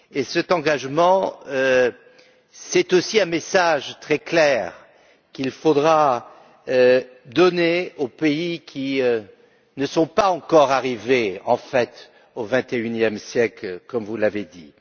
Cet engagement, c'est aussi un message très clair qu'il faudra donner aux pays qui ne sont pas encore arrivés, en fait, au vingt et unième siècle, comme vous l'avez dit.